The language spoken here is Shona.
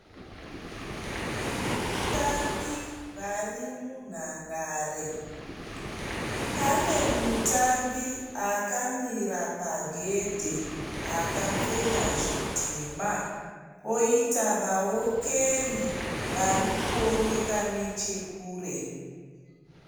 Vatambi varimunhandare, pane mutambi akamira pagedhi akapfeka zvitema poita vaokeri varikuoneka nechekure.